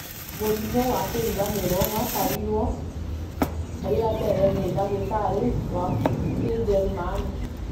mũrimũ wa kũriganĩrwo watarĩirio rĩa mbere nĩ ndagĩtarĩ wa kĩnjerumani